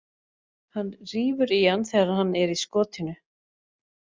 Hann rífur í hann þegar hann er í skotinu.